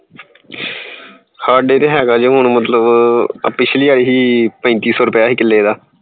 ਸਾਡੇ ਤਾਂ ਹੇਗਾ ਏ ਮਤਲਬ ਪਿਛਲੀ ਵਾਰੀ ਸੀ ਪੈਂਤੀ ਸੋ ਸੀ ਕਿੱਲੇ ਦਾ